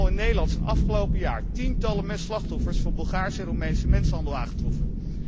Alleen al in Nederland zijn afgelopen jaar tientallen slachtoffers van Bulgaarse en Roemeense mensenhandel aangetroffen.